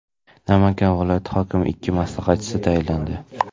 Namangan viloyati hokimiga ikki maslahatchi tayinlandi.